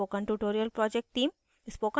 spoken tutorial project team